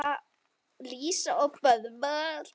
Lísa og Böðvar.